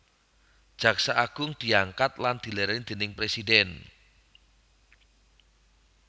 Jaksa Agung diangkat lan dilèrèni déning Presidhèn